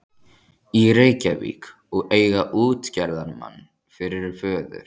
í Reykjavík og eiga útgerðarmann fyrir föður.